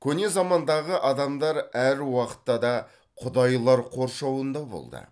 көне замандағы адамдар әр уақытта да құдайлар қоршауында болды